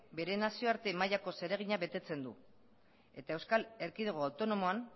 bere nazioarte mailako zeregina betetzen du eta euskal erkidego autonomoan